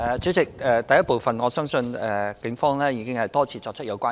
主席，就第一部分，我相信警方已經多次作出有關呼籲。